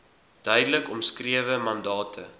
duidelik omskrewe mandate